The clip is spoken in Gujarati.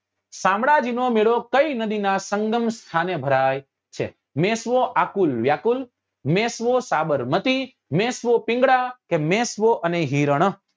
સામાંળાજી નો મેળો કયી નદી નાં સંગમ સ્થાને ભરાય છે મેશ્વો આકુલ વ્યાકુળ મેશ્વો સાબરમતી મેશ્વો પિંગલા કે મેશ્વો અને હિરણ